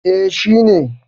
eh shi ne